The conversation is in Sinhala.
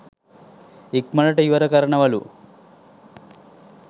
ඉක්මනට ඉවර කරනවලු.